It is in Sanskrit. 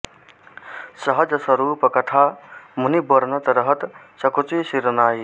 सहज सरूप कथा मुनि बरनत रहत सकुचि सिर नाई